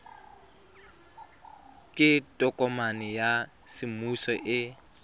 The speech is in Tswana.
ke tokomane ya semmuso e